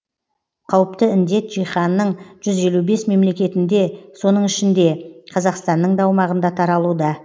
соның ішінде қазақстанның да аумағында таралуда